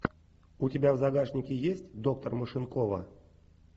у тебя в загашнике есть доктор машинкова